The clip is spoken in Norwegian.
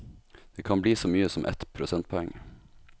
Det kan bli så mye som ett prosentpoeng.